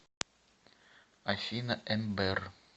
афина эмбер